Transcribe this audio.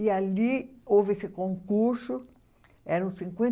E ali houve esse concurso, eram cinquen